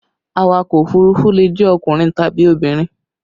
Awakọ̀ òfurufú le jẹ́ ọkùnrin tàbí obìnrin